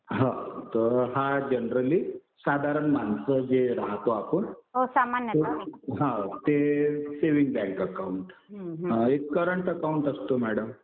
हा तर हा जनरली साधारण माणसं जे राहतो आपण हा ते सेविंग बँक अकाउंट. एक करंट अकाउंट असतं मॅडम.